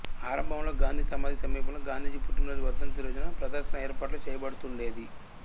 ఆరంభంలో గాంధిసమాధి సమీపంలో గాంధీజీ పుట్టినరోజు వర్ధంతిరోజున ప్రదర్శన ఏర్పాటు చేయబడుతుండేది